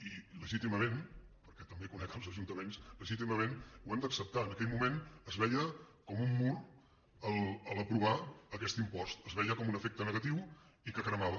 i legítimament perquè també conec els ajuntaments ho hem d’acceptar en aquell moment es veia com un mur aprovar aquest impost es veia com un efecte negatiu i que cremava